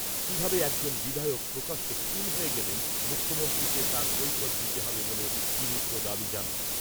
কিভাবে একজন বিধায়ক প্রকাশ্যে খুন হয়ে গেলেন মুখ্যমন্ত্রীকে তার কৈফিয়ত দিতে হবে বলে শ্রী মিত্র দাবী জানান ।